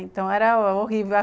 Então era era horrível.